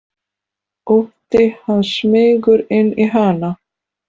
Ótti hans smýgur inn í hana.